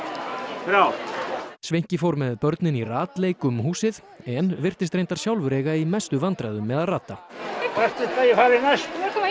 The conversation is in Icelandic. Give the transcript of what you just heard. þrjár sveinki fór með börnin í ratleik um húsið en virtist reyndar sjálfur eiga í mestu vandræðum með að rata hvert viltu að ég fari næst